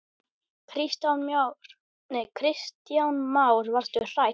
Kristján Már: Varstu hrædd?